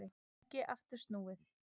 Ekki aftur snúið